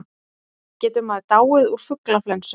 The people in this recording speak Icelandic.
Getur maður dáið úr fuglaflensu?